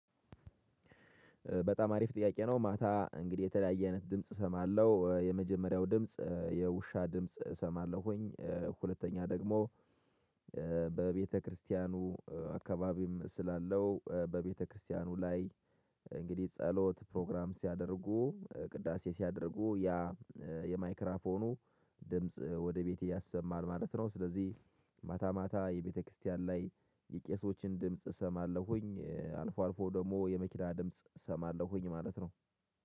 በጣም አሪፍ ጥያቄ ነው ማታ እንግዲህ የተለያየ አይነት ድምጽ እሰማለሁ የመጀመሪያው ድምጽ የውሻ ድምጽ እሰማለሁኝ። ሁለተኛ ደግሞ በቤተክርስቲያኑ አካባቢም ስላለው በቤተክርስቲያኑ ላይ እንግዲህ ጸሎት ፕሮግራም ሲያደርጉ ቅዳሴ ሲያደርጉ ያ የማይክራፎኑ ድምጽ ወደ ቤት ያሰማል ማለት ነው። ስለዚህ ማታ ማታ የቤተክርስቲያን ላይ የቄሶችን ድምጽ እሰማለሁኝ አልፎ አልፎ ደግሞ የመኪና ድምጽ እሰማለሁኝ ማለት ነው